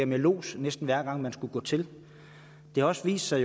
med lods næsten hver gang man skulle gå til det har også vist sig